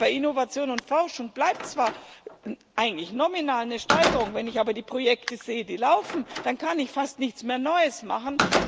Bei Innovation und Forschung bleibt zwar eigentlich nominal eine Steigerung, wenn ich aber die Projekte sehe, die laufen, dann kann ich fast nichts Neues mehr machen.